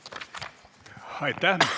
Aitäh!